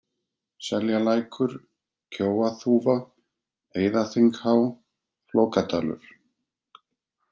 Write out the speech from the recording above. Seljalækur, Kjóaþúfa, Eiðaþinghá, Flókadalur